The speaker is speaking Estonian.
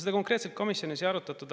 Seda komisjonis konkreetselt ei arutatud.